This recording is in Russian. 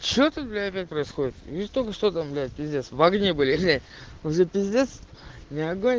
че ты блять происходит не столько что там блядь пиздец ваагни были уже пиздец не огонь